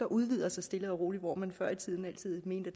udvikler sig stille og roligt hvor man før i tiden altid mente